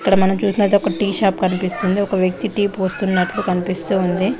ఇక్కడ మనం చూసినట్టు అయితే ఒక టీ షాప్ ఒక వ్యక్తి టీ పోస్తునట్టు కనిపిస్తుంది